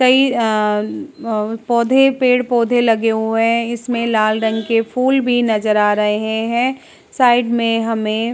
कहीं पौधे आ पेड़ पौधे लगे हुए हैं। इसमें लाल रंग के फूल भी नजर आ रहे हैं। साइड में हमें --